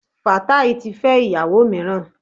Fatai ti fẹ́ íyàwò mìíràn.